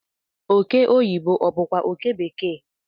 oke oyibo obu kwa oke bekee?